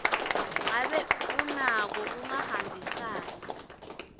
ngabe unako kungahambisani